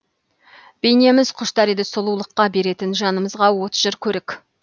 бейнеміз құштар еді сұлулыққа беретін жанымызға от жыр көрік